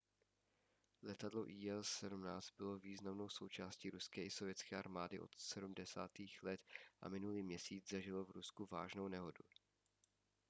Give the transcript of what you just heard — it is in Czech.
letadlo il-76 bylo významnou součástí ruské i sovětské armády od 70. let a minulý měsíc zažilo v rusku vážnou nehodu